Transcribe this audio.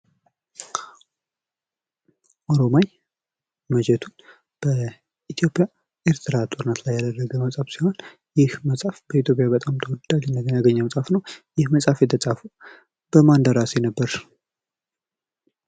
ኦሮማይ ማጀቱ በኢትዮጵያ ኤርትራ ጦርነት ላይ ያደረገ መፅሐፍ ሲሆን ይኽ መፅሐፍ በኢትዮጵያ በጣም ተወዳጅነትን ያገኘ መፅሐፍ ነው። ይህ መፅሐፍ የተፃፈው በማን ደራሲ ነበር?